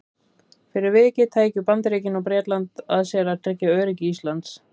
Fyrir vikið tækju Bandaríkin og Bretland að sér að tryggja öryggi Íslands.